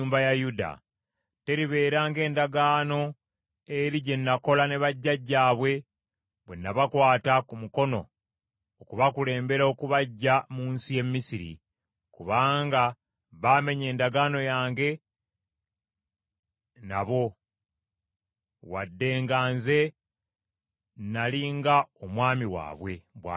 Teribeera ng’endagaano eri gye nakola ne bajjajjaabwe bwe nabakwata ku mukono okubakulembera okubaggya mu nsi y’e Misiri, kubanga baamenya endagaano yange nabo wadde nga nze nnali nga omwami waabwe,” bw’ayogera Mukama .